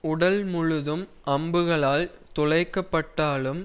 உடல் முழுதும் அம்புகளால் துளைக்கப்பட்டாலும்